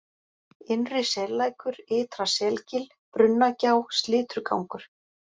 Innri Sellækur, Ytra Selgil, Brunnagjá, Slitrugangur